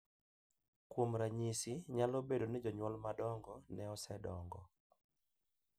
Kuom ranyisi, nyalo bedo ni jonyuol madongo ne osedongo .